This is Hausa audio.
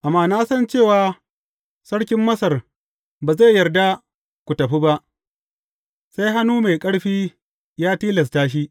Amma na san cewa sarkin Masar ba zai yarda ku tafi ba, sai hannu mai ƙarfi ya tilasta shi.